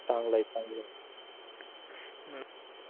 चांगलं आहे चांगलंआहे